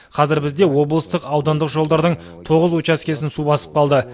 қазір бізде облыстық аудандық жолдардың тоғыз учаскесін су басып қалды